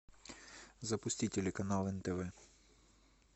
запусти телеканал нтв